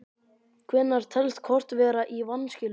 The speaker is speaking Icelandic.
Hvenær telst kort vera í vanskilum?